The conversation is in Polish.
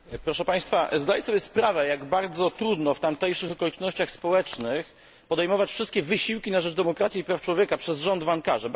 Pani przewodnicząca! Zdaję sobie sprawę, jak bardzo trudno w tamtejszych okolicznościach społecznych podejmować wszystkie wysiłki na rzecz demokracji i praw człowieka przez rząd w Ankarze.